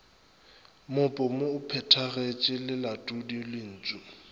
mopomo o phethagetpe lelatodi lentpu